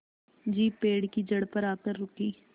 jeep पेड़ की जड़ पर आकर रुकी